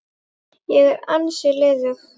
Ég er ansi liðug!